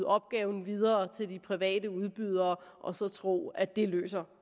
opgaven videre til de private udbydere og så tro at det løser